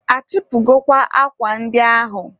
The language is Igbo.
a chịpụgokwa akwa ndị ahụ?